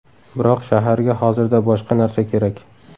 Biroq shaharga hozirda boshqa narsa kerak.